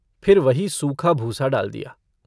फिर वही सूखा भूसा डाल दिया।